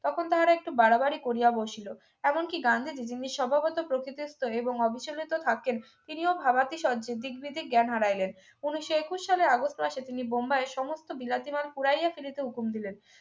তখন তাহারা একটু বাড়াবাড়ি করিয়া বসিল এমনকি গান্ধীজী যিনি স্বভাবতই প্রকৃতিস্থ এবং অবিচলিত থাকেন তিনিও ভাবাতিশর্য্যের দিগ্বিদিক জ্ঞান হারাইলেন উনিশশো একুশ সালে আগস্ট মাসে তিনি বোম্বাইয়ের সমস্ত বিলাতি মাল পুড়াইয়া ফেলিতে হুকুম দিলেন